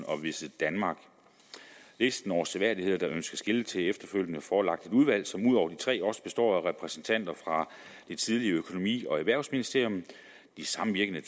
og visitdenmark listen over seværdigheder der ønskes skiltet til er efterfølgende forelagt et udvalg som ud over de tre også består af repræsentanter fra det tidligere økonomi og erhvervsministerium samvirkende